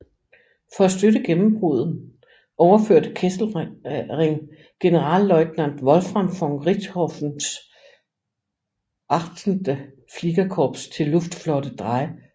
For at støtte gennembruddet overførte Kesselring Generalleutnant Wolfram von Richthofens VIII Fliegerkorps til Luftflotte 3